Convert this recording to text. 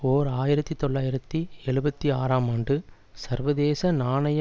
ஓர் ஆயிரத்தி தொள்ளாயிரத்து எழுபத்தி ஆறாம் ஆண்டு சர்வதேச நாணய